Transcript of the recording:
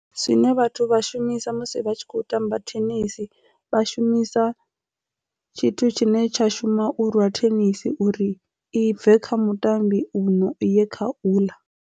Zwine vhathu vha shumisa musi vha tshi kho tamba thenisi vha shumisa tshithu tshine tsha shuma u lwa thenisi uri i bve kha mutambi uno i ye kha uḽa.